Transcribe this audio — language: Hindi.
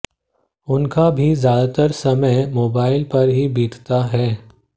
उनका भी ज्यादातर समय मोबाइल पर ही बीतता है